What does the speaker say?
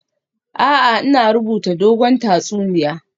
A'a, ina rubuta dogon tatsuniya